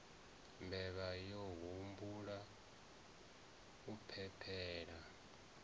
mbevha yo humbula u phephela